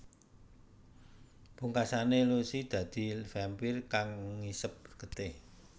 Pungkasane Lucy dadi vampire kang ngisep getih